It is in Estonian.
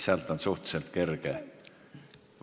Sellest on suhteliselt kerge lähtuda.